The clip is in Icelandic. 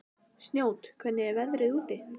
Snót, hvernig er veðrið úti?